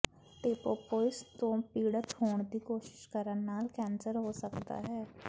ਏਪੋਪੋਟਿਸ ਤੋਂ ਪੀੜਤ ਹੋਣ ਦੀ ਕੋਸ਼ਿਸ ਕਰਨ ਨਾਲ ਕੈਂਸਰ ਹੋ ਸਕਦਾ ਹੈ